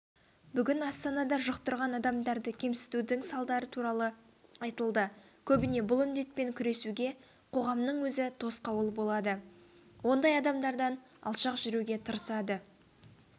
бүгін астанада жұқтырған адамдарды кемсітудің салдары туралы айтылды көбіне бұл індетпен күресуге қоғамның өзі тосқауыл болады ондай адамдардан алшақ жүруге тырысады